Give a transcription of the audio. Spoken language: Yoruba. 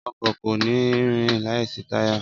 Ọkọ̀ kò ní rìn láìsí táyà